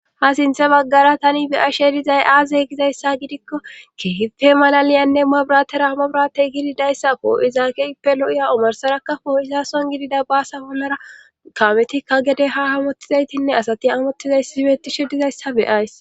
ha sintha baggara tani beya shedizay aazey gizayssa gidikko kehife malaliyanne mua biratera hama biratey gididayssako izaakeyppe lo7iya omorsarakka fooyisason gidida baasa bolara kametikka gede ha hamottizaytinne asati amottizays sibeeti shi dizayssa beyays